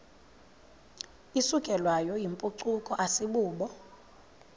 isukelwayo yimpucuko asibubo